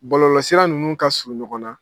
Balolɔsira ninnu ka surun ɲɔgɔn na.